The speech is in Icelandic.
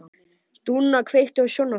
Dúnna, kveiktu á sjónvarpinu.